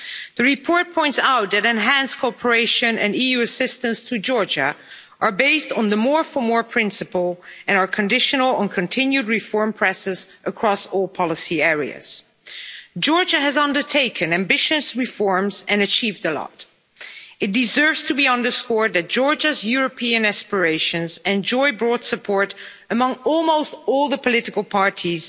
The report points out that enhanced cooperation and EU assistance to Georgia are based on the more for more principle and are conditional on continued reform processes across all policy areas. Georgia has undertaken ambitious reforms and achieved a lot. It deserves to be underscored that Georgia's European aspirations enjoy broad support among almost all the political parties